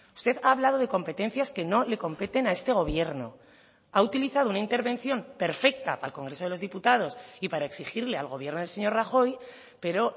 usted ha hablado de competencias que no le competen a este gobierno ha utilizado una intervención perfecta para el congreso de los diputados y para exigirle al gobierno del señor rajoy pero